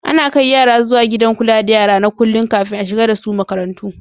Ana kai yara zuwa Gidan kula da yara na kullun, kafin a shigar da su makarantu.